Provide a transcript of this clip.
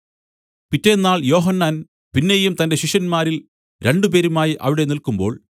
പിറ്റെന്നാൾ യോഹന്നാൻ പിന്നെയും തന്റെ ശിഷ്യന്മാരിൽ രണ്ടുപേരുമായി അവിടെ നില്ക്കുമ്പോൾ